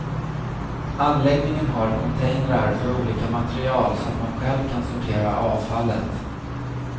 Anläggningen har containrar för olika material så att man själv kan sortera avfallet.